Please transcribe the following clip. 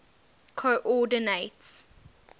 coordinates